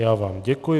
Já vám děkuji.